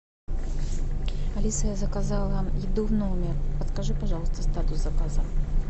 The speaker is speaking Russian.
алиса я заказала еду в номер подскажи пожалуйста статус заказа